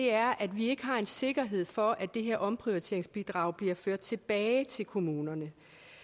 er at vi ikke har en sikkerhed for at det her omprioriteringsbidrag bliver ført tilbage til kommunerne